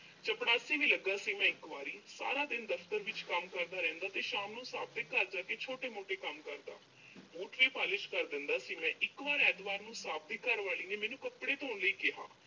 ਚਪੜਾਸੀ ਵੀ ਲੱਗਾ ਸੀ ਮੈਂ ਇੱਕ ਵਾਰੀ। ਸਾਰਾ ਦਿਨ ਦਫ਼ਤਰ ਵਿੱਚ ਕੰਮ ਕਰਦਾ ਰਹਿੰਦਾ ਤੇ ਸ਼ਾਮ ਨੂੰ ਸਾਹਿਬ ਦੇ ਘਰ ਜਾ ਕੇ ਛੋਟੇ-ਮੋਟੇ ਕੰਮ ਕਰਦਾ। boot ਵੀ polish ਕਰ ਦਿੰਦਾ ਸੀ ਮੈਂ। ਇੱਕ ਵਾਰ ਐਤਵਾਰ ਨੂੰ ਸਾਹਿਬ ਦੇ ਘਰਵਾਲੀ ਨੇ ਮੈਨੂੰ ਕੱਪੜੇ ਧੋਣ ਲਈ ਕਿਹਾ।